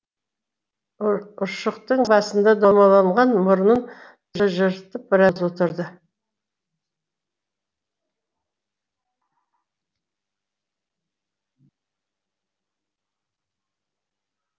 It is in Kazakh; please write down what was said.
ұршықтың басындай домаланған мұрнын тыжырып біраз отырды